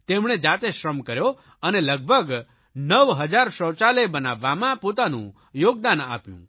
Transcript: તેમણે જાતે શ્રમ કર્યો અને લગભગ 9 હજાર શૌચાલય બનાવવામાં પોતાનું યોગદાન આપ્યું